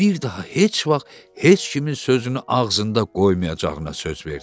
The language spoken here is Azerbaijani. Bir daha heç vaxt heç kimin sözünü ağzında qoymayacağına söz verdi.